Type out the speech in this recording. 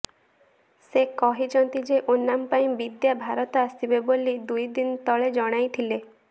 ସେ କହିଛନ୍ତି ଯେ ଓନାମ୍ ପାଇଁ ବିଦ୍ୟା ଭାରତ ଆସିବେ ବୋଲି ଦୁଇ ଦିନ ତଳେ ଜଣାଇଥିଲେ